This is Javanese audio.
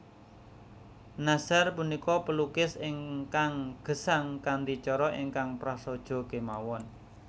Nashar punika pelukis ingkang gesang kanthi cara ingkang prasaja kemawon